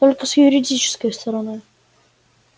только с юридической стороны